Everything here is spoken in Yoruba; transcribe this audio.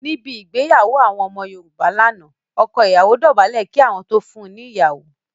Níbẹ̀ igbeyawo àwọn ọmọ Yorùbá lánà, ọkọ ìyawo dóbálẹ̀ kí wọn tó fún un ní ìyawo